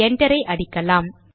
enter விசையை அடிக்கலாம்